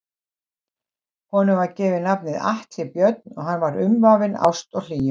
Honum var gefið nafnið Atli Björn og hann var umvafinn ást og hlýju.